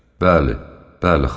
Bəli, bəli, xanım.